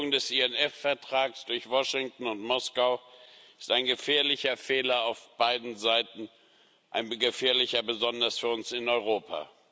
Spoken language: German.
Die Kündigung des INF Vertrags durch Washington und Moskau ist ein gefährlicher Fehler auf beiden Seiten ein gefährlicher besonders für uns in Europa.